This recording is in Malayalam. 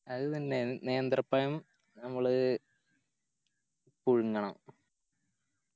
അത് പിന്നെ നേന്ത്രപ്പയം നമ്മള് പുഴുങ്ങണം